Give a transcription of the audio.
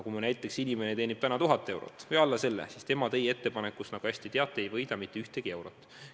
Kui inimene teenib täna 1000 eurot või alla selle, siis tema teie ettepaneku elluviimisest, nagu te hästi teate, ei võida mitte ühtegi eurot.